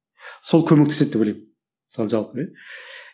сол көмектеседі деп ойлаймын сол жалпы иә